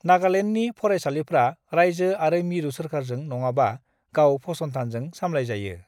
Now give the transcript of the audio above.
नागालेन्डनि फरायसालिफ्रा रायजो आरो मिरु सोरखारजों नङाबा गाव फसंथानजों सामलायजायो।